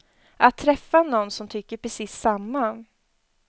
Att träffa nån som tycker precis samma.